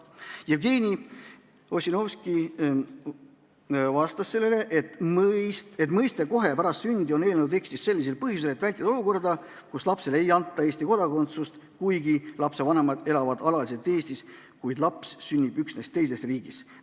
Jevgeni Ossinovski vastas sellele, et väljend "kohe pärast sündi" on eelnõu tekstis põhjusel, et vältida olukorda, kus lapsele ei anta Eesti kodakondsust üksnes sellepärast, et ta sünnib teises riigis, kuigi tema vanemad elavad alaliselt Eestis.